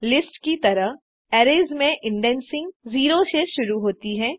lists की तरह arrays में इंडेक्सिंग 0 से शुरू होती है